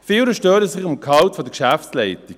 Viele stören sich am Gehalt der Geschäftsleitung.